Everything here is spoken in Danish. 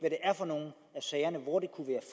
er for nogle af sagerne hvor det kunne være